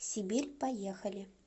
сибирь поехали